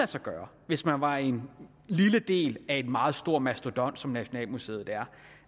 sig gøre hvis man var en lille del af en meget stor mastodont som nationalmuseet